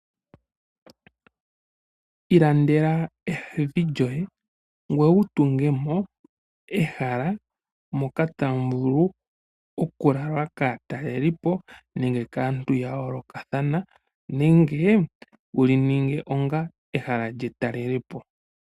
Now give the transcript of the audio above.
Ilandela evi lyoye ngoye wu tunge mo ehala moka tamu vulu okulalwa kaatalelipo nenge kaantu ya yoolokathana, nenge wuli ninge onga ehala lyetalele po.